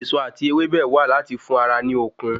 Èso ati ewébẹ̀ wà láti fún ara ní okun